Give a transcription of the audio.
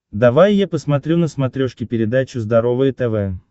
давай я посмотрю на смотрешке передачу здоровое тв